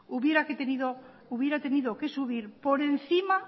hubiera tenido que subir por encima